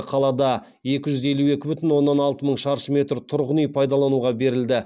қалада екі жүз елу екі бүтін оннан алты мың шаршы метр тұрғын үй пайдалануға берілді